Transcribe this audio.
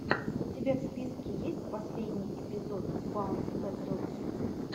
у тебя в списке есть последний эпизод баунс пэтрол кидс